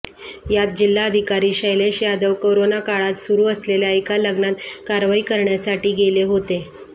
यात जिल्हाधिकारी शैलेश यादव करोनाकाळात सुरू असलेल्या एका लग्नात कारवाई करण्यासाठी गेले होते